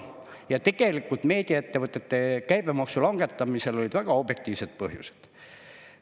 Ja tegelikult meediaettevõtete käibemaksu langetamisel olid väga objektiivsed põhjused.